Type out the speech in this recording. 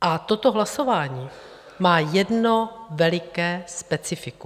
A toto hlasování má jedno veliké specifikum.